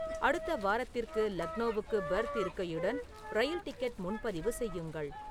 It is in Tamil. அடுத்த வாரத்திற்கு லக்னோவுக்கு பெர்த் இருக்கையுடன் ரயில் டிக்கெட் முன்பதிவு செய்யுங்கள்